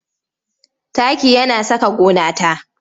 Taki yana saka gona ta